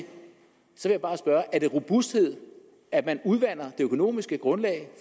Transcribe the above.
så vil jeg bare spørge er det robusthed at man udvander det økonomiske grundlag